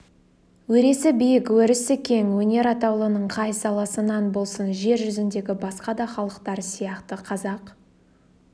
өресі биік өрісі кең өнер атаулының қай саласынан болсын жер жүзіндегі басқа да халықтар сияқты қазақ